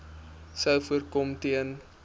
sou voorkom ten